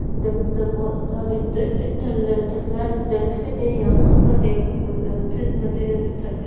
दंत पोतता लय इथ-इथ तल्ला तल्ल इथ थ ये यहा पर देखने को लत दिखाई--